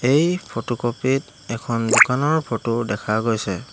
এই ফটোকপি ত এখন দোকানৰ ফটো দেখা গৈছে।